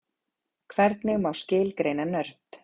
hvernig má skilgreina nörd